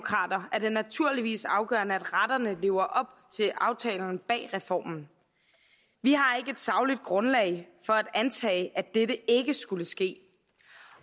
er det naturligvis afgørende at retterne lever op til aftalerne bag reformen vi har ikke et sagligt grundlag for at antage at dette ikke skulle ske